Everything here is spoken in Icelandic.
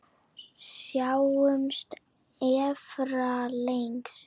Sjáumst efra, lagsi!